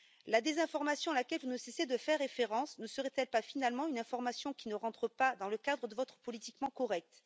La désinformation à laquelle vous ne cessez de faire référence ne serait elle pas, finalement, une information qui ne rentre pas dans le cadre de votre politiquement correct?